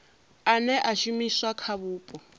ane a shumiswa kha vhupo